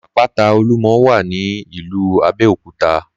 Àpáta Olúmọ wà ní ìlú Abéòkúta